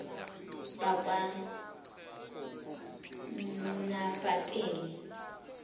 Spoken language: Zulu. bakwanafateli